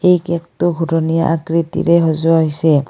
এই কেকটো ঘূৰণীয়া আকৃতিৰে সজোৱা হৈছে।